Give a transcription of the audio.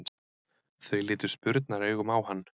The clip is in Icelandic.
Þau litu spurnaraugum á hann.